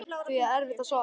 Því er erfitt að svara.